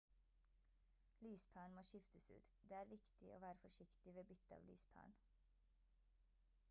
lyspæren må skiftes ut det er viktig å være forsiktig ved bytte av lyspæren